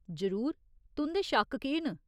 जरूर, तुं'दे शक्क केह् न ?